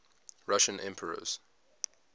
russian emperors